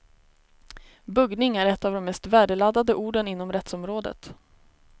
Buggning är ett av de mest värdeladdade orden inom rättsområdet.